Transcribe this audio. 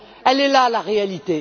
Elle est là la réalité.